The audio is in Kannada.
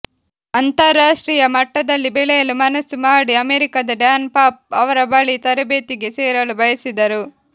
ಅಂತರರಾಷ್ಟ್ರೀಯ ಮಟ್ಟದಲ್ಲಿ ಬೆಳೆಯಲು ಮನಸ್ಸು ಮಾಡಿ ಅಮೆರಿಕದ ಡ್ಯಾನ್ ಪಾಫ್ ಅವರ ಬಳಿ ತರಬೇತಿಗೆ ಸೇರಲು ಬಯಸಿದರು